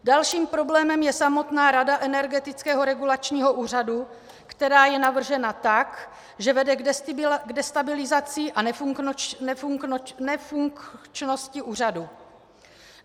Dalším problémem je samotná rada Energetického regulačního úřadu, která je navržena tak, že vede k destabilizaci a nefunkčnosti úřadu.